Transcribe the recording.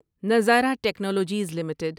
نظارہ technologies limited